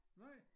Nej